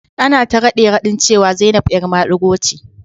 Ana ta rade-radin cewa Zainab 'yar madigo ce.